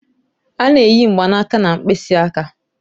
A na-eyi mgbanaka na mkpịsị aka.